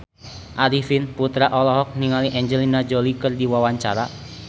Arifin Putra olohok ningali Angelina Jolie keur diwawancara